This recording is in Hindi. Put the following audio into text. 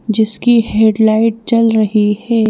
जिसकी हेडलाइट चल रही है।